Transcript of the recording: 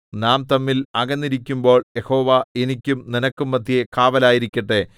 നാം തമ്മിൽ അകന്നിരിക്കുമ്പോൾ യഹോവ എനിക്കും നിനക്കും മദ്ധ്യേ കാവലായിരിക്കട്ടെ